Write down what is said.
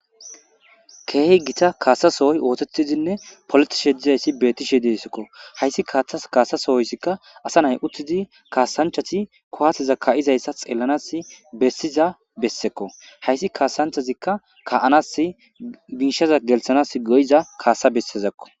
keehi gita kaasasohoy ootettizinne politishe dizayssi beettishe dessekko hayssi kaaththas kaasasohoyssikka asa nay uttidi kaasanchati kowaatteza ka7izayssa xeellanas bessiza bessekko hayssi kaasanchazikka ka7anas biishaza gelthanas go7iza kaasa bessezakko